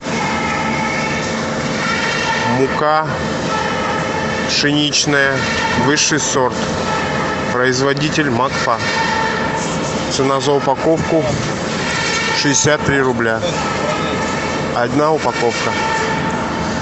мука пшеничная высший сорт производитель макфа цена за упаковку шестьдесят три рубля одна упаковка